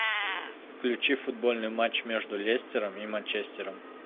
включи футбольный матч между лестером и манчестером